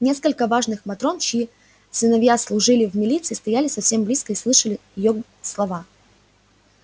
несколько важных матрон чьи сыновья служили в милиции стояли совсем близко и слышали её слова